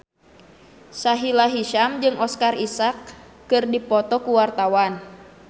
Sahila Hisyam jeung Oscar Isaac keur dipoto ku wartawan